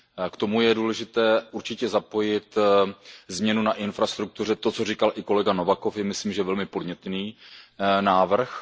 K tomu je důležité určitě zapojit změnu na infrastruktuře, to, co říkal i kolega Novakov, je myslíme velmi podnětný návrh.